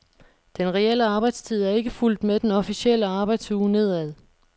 Den reelle arbejdstid er ikke fulgt med den officielle arbejdsuge nedad.